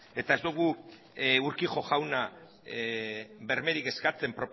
eta ez dugu urquijo jaunari bermerik eskatzen